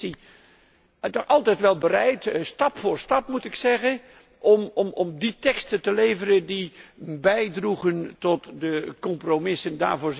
En de Commissie was altijd wel bereid, stap voor stap moet ik zeggen, om die teksten te leveren die bijdroegen tot de compromissen.